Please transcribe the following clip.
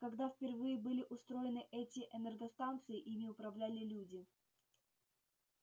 когда впервые были устроены эти энергостанции ими управляли люди